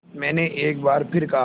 मैंने एक बार फिर कहा